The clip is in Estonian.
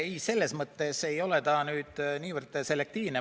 Ei, selles mõttes ei ole ta nüüd niivõrd selektiivne.